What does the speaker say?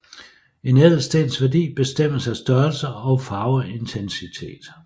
En ædelstens værdi bestemmes af størrelse og farveintensitet